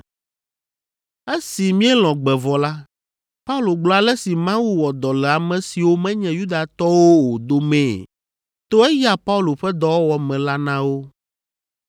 Esi míelɔ̃ gbe vɔ la, Paulo gblɔ ale si Mawu wɔ dɔ le ame siwo menye Yudatɔwo o domee to eya Paulo ƒe dɔwɔwɔ me la na wo.